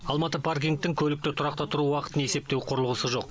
алматы паркингтің көлікті тұрақта тұру уақытын есептеу құрылғысы жоқ